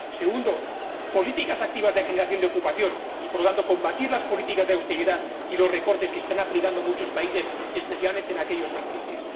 1 segundo, políticas activas de generación de ocupación y, por lo tanto, combatir las políticas de austeridad y los recortes que están aplicando muchos países, especialmente aquellos en crisis